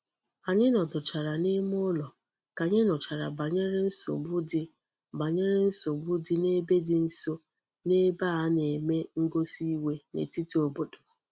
Anyi noduchara n'ime ulo ka anyi nuchara banyere nsogbu di banyere nsogbu di n'ebe di nso n'ebe a na-eme ngosi iwe n'etiti obodo.